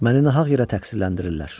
Məni nahaq yerə təqsirləndirirlər.